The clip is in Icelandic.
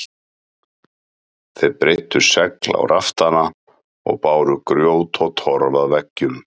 Þeir breiddu segl á raftana og báru grjót og torf að veggjum.